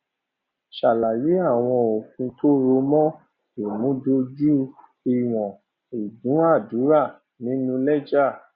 ṣàlàyé àwọn òfin tó rọ mọ ìmúdójú ìwọn ìdúnàádúrà nínú lẹjà